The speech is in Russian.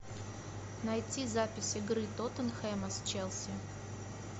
найти запись игры тоттенхэма с челси